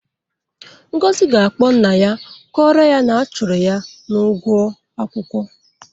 Ngozi ga-akpọ nna ya kọrọ ya na a chụrụ ya n'ụgwọ akwụkwọ.